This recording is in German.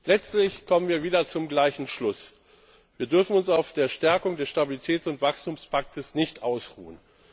Letztlich kommen wir wieder zum gleichen Schluss Wir dürfen uns auf der Stärkung des Stabilitäts und Wachstumspakts nicht ausruhen.